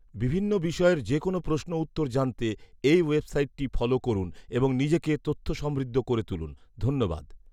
বিভিন্ন বিষয়ের যেকোনো প্ৰশ্ন উত্তর জানতে এই ওয়েবসাইট টি ফলাে করুন এবং নিজেকে তথ্য সমৃদ্ধ করে তুলুন , ধন্যবাদ